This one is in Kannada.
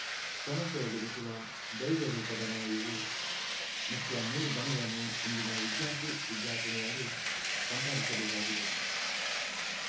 ಸಮಸ್ಯೆ ಎದುರಿಸುವ ದೈರ್ಯರೂಪಧನ ಇವು ಮುಖ್ಯ ಮೂರು ಧನಗಳನ್ನು ಇಂದಿನ ವಿದ್ಯಾರ್ಥಿ ವಿದ್ಯಾರ್ಥಿನಿಯರು ಸಂಪಾದಿಸಬೇಕಾಗಿದೆ